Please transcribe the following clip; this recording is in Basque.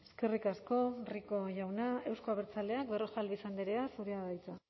eskerrik asko rico jauna euzko abertzaleak berrojalbiz andrea zurea da hitza